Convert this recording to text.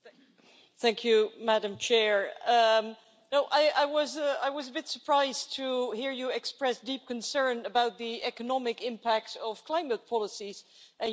I was a bit surprised to hear you express deep concern about the economic impact of climate policies and you say there was an absence of economics in the debate.